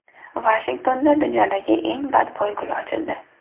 Vashingtonda dunyodagi eng badbo‘y gul ochildi.